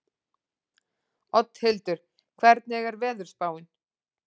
Oddhildur, hvernig er veðurspáin?